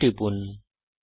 okay টিপুন